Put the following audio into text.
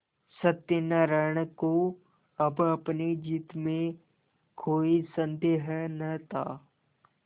सत्यनाराण को अब अपनी जीत में कोई सन्देह न था